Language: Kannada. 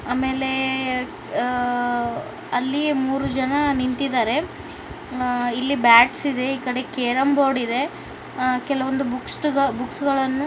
ಆಮೇಲೆ ಅ ಅಲ್ಲಿ ಮೂರು ಜನ ನಿಂತಿದ್ದಾರೆ ಇಲ್ಲಿ ಬ್ಯಾಡ್ಸ್ ಇದೆ ಕೇರಂ ಬೋರ್ಡ್ ಇದೆ ಕೆಲವೊಂದು ಬುಕ್ಟ ಬುಕ್ಸ್ ಗಳನ್ನು